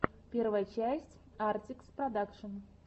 первая часть артикс продакшн